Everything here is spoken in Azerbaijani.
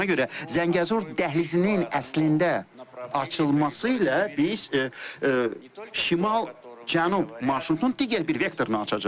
Ona görə Zəngəzur dəhlizinin əslində açılması ilə biz şimal-cənub marşrutunun digər bir vektorunu açacağıq.